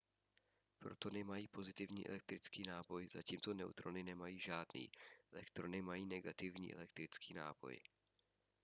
protony mají pozitivní elektrický náboj zatímco neutrony nemají žádný elektrony mají negativní elektrický náboj